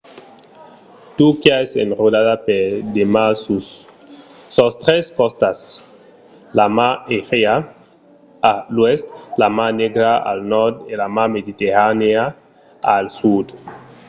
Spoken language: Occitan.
turquia es enrodada per de mars sus sos tres costats: la mar egèa a l’oèst la mar negra al nòrd e la mar mediterranèa al sud